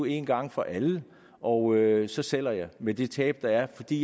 en gang for alle og så sælge med det tab der er fordi